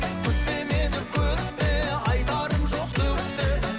күтпе мені күтпе айтарым жоқ түк те